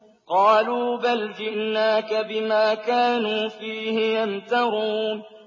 قَالُوا بَلْ جِئْنَاكَ بِمَا كَانُوا فِيهِ يَمْتَرُونَ